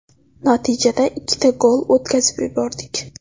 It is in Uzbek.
Natijada ikkita gol o‘tkazib yubordik.